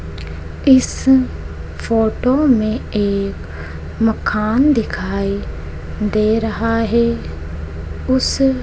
इस फोटो में एक मकान दिखाई दे रहा है उस--